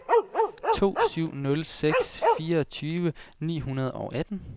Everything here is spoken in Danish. to syv nul seks fireogtyve ni hundrede og atten